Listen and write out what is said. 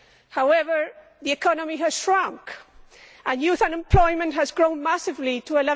However, the economy has shrunk and youth unemployment has grown massively to